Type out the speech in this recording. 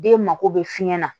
Den mako bɛ fiɲɛ na